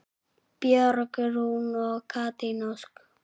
Björg Rún og Katrín Ósk.